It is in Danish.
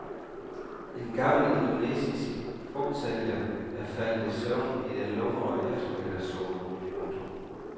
En gammel indonesisk frugtsælger er faldet i søvn i den lumre eftermiddagssol. punktum